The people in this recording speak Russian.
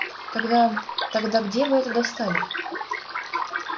тогда тогда где вы это достали